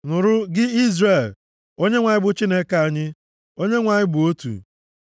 Nụrụ gị Izrel, Onyenwe anyị bụ Chineke anyị, Onyenwe anyị bụ otu.